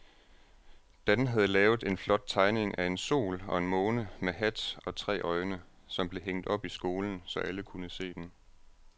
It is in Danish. Dan havde lavet en flot tegning af en sol og en måne med hat og tre øjne, som blev hængt op i skolen, så alle kunne se den.